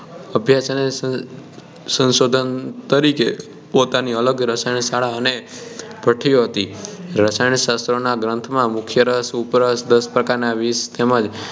અભ્યાસ અને સંશોધન તરીકે પોતાની અલગ રસાયણ શાળા અને ભઠ્ઠીઓ હતી રસાયણશાસ્ત્રોના ગ્રંથોમાં મુખ્યરસ ઉધરસ દસ પ્રકારનાં વિષ તેમજ